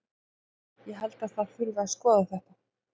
Ég held að það þurfi að skoða þetta.